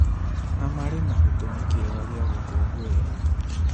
Na marĩ na gĩtũmi kĩega gĩa gũkũngũĩra.